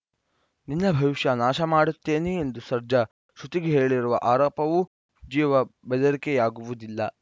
ನಿನ್ನ ಭವಿಷ್ಯ ನಾಶಮಾಡುತ್ತೇನೆ ಎಂದು ಸರ್ಜಾ ಶ್ರುತಿಗೆ ಹೇಳಿರುವ ಆರೋಪವೂ ಜೀವ ಬೆದರಿಕೆಯಾಗುವುದಿಲ್ಲ